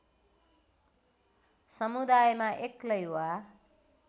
समुदायमा एक्लै वा